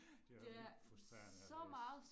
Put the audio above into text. Det var vildt frustrerende at læse